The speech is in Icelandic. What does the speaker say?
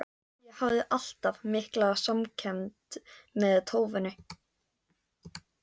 Ég hafði alltaf mikla samkennd með tófunni.